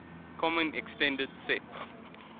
common extended sets